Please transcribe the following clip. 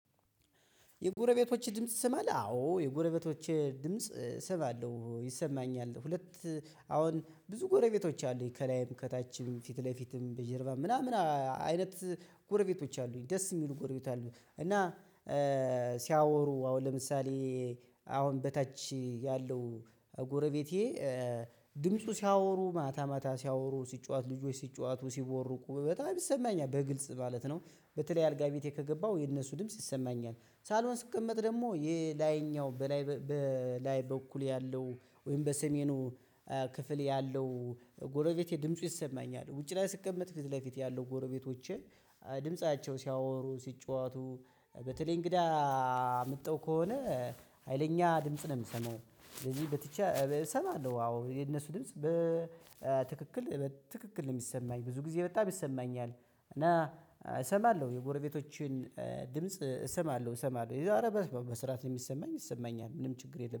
የጎረቤቶች ድምጽ ጸማለህ? አዎ የጎረቤቶች ድምጽ እሰማለሁ። ይሰማኛል። ሁለት አሁን ብዙ ጎረቤቶች አሉኝ ከላይም ከታችም ፊት ለፊትም በጀርባም ምናምን አይነት ጎረቤቶች አሉኝ ደስ የሚሉ ጎረቤት አሉኝ እና ሲያወሩ አሁን ለምሳሌ አሁን በታች ያለው ጎረቤቴ ድምፁ ሲያወሩ ማታ ማታ ሲያወሩ ሲጫወት ልጆች ሲጫወቱ ሲቦርቁ በጣም ይሰማኛል በግልጽ ማለት ነው። በተለይ አልጋ ቤቴ ከገባሁ የነሱ ድምጽ ይሰማኛል። ሳሎን ስቀመጥ ደግሞ ይሄ ላይኛው በላይ በኩል ያለው ወይም በሰሜኑ ክፍል ያለው ጎረቤቴ ድምፁ ይሰማኛል። ውጪ ላይ ስቀመጥ ፊት ለፊት ያለው ጎረቤቶቼ ድምፃቸው ሲያወሩ ሲጫወቱ በተለይ እንግዳ አምጥተው ከሆነ ሀይለኛ ድምጽ ነው የምሰማው። ስለዚህ እሰማለሁ አዎ። የነሱ ድምጽ በትክክል በትክክል ነው የሚሰማኝ ብዙ ጊዜ በጣም ይሰማኛል እና እሰማለሁ የጎረቤቶችን ድምጽ እሰማለሁ እሰማለሁ። የዛሬ በስራት ነው የሚሰማኝ ይሰማኛል ምንም ችግር የለም።